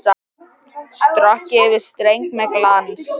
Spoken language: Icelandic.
Strokið yfir streng með glans.